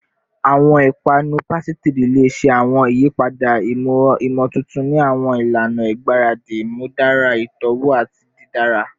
Awọn ipanu pasitiri le ṣe awọn iyipada imotuntun ni awọn ilana igbaradi, imudara itọwo ati didara